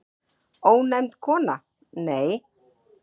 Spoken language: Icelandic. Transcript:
Ónefnd kona: Nei.